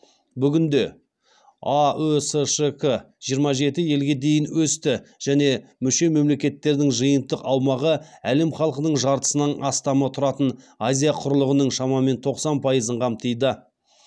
бүгінде аөсшк жиырма жеті елге дейін өсті және мүше мемлекеттердің жиынтық аумағы әлем халқының жартысынан астамы тұратын азия құрлығының шамамен тоқсан пайызын қамтиды